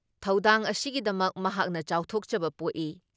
ꯊꯧꯗꯥꯡ ꯑꯁꯤꯒꯤꯗꯃꯛ ꯃꯍꯥꯛꯅ ꯆꯥꯎꯊꯣꯛꯆꯕ ꯄꯣꯛꯏ ꯫